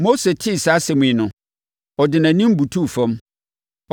Mose tee saa asɛm yi no, ɔde nʼanim butuu fam.